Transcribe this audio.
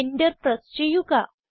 enter press ചെയ്യുക